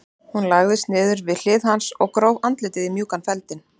Hún lagðist niður við hlið hans og gróf andlitið í mjúkan feldinn.